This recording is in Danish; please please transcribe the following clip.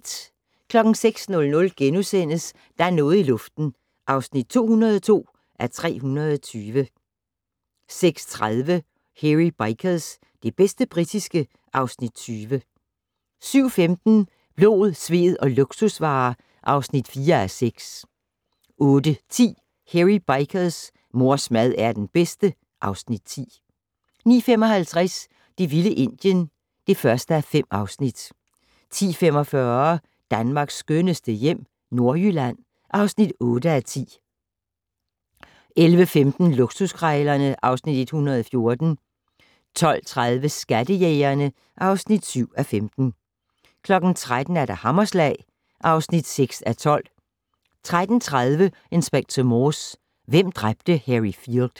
06:00: Der er noget i luften (202:320)* 06:30: Hairy Bikers - det bedste britiske (Afs. 20) 07:15: Blod, sved og luksusvarer (4:6) 08:10: Hairy Bikers: Mors mad er den bedste (Afs. 10) 09:55: Det vilde Indien (1:5) 10:45: Danmarks skønneste hjem - Nordjylland (8:10) 11:15: Luksuskrejlerne (Afs. 114) 12:30: Skattejægerne (7:15) 13:00: Hammerslag (6:12) 13:30: Inspector Morse: Hvem dræbte Harry Field?